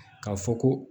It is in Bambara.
Ka fɔ ko